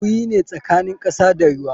Guri ne tsakanin kasa da ruwa.